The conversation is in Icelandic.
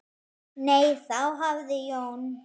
Nei, þá hafði Jón